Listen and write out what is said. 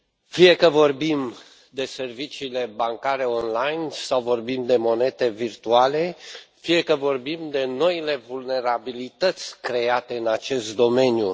Fie că vorbim de serviciile bancare online sau vorbim de monede virtuale, fie că vorbim de noile vulnerabilități create în acest domeniu.